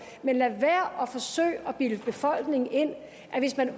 men lad være at forsøge at bilde befolkningen ind at hvis man